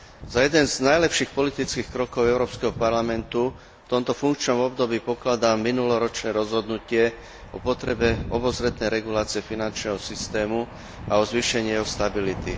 Za jeden z najlepších politických krokov Európskeho parlamentu v tomto funkčnom období pokladám minuloročné rozhodnutie o potrebe obozretnej regulácie finančného systému a o zvýšení jeho stability.